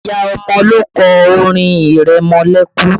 Ìyá ọmọ ló kọ orin ìrẹmọlẹ́kún